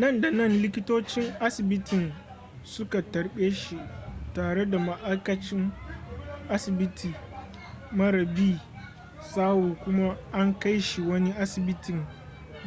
nan da nan likitocin asibitin suka tarbe shi tare da ma'aikacin asibiti mara bi sawu kuma an kai shi wani asibitin